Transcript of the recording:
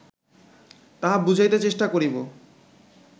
তাহা বুঝাইতে চেষ্টা করিব